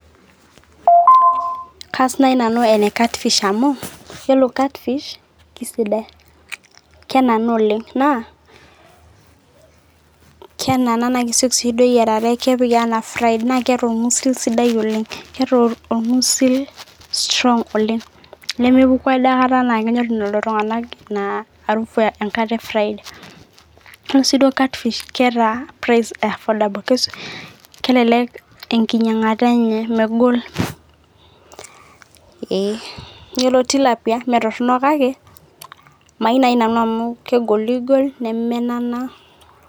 kaas naji nanu ene catfish amu iyiolo catfish kisidai, kenana oleng naa ,kenaa naa kisioki doi eyierare, kepiki anaa fried naa keeta orgusil sidai oleng . keeta orngusil strong oleng .